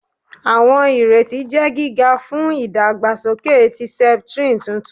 Awọn ireti jẹ giga fun idagbasoke ti septrin tuntun